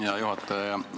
Hea juhataja!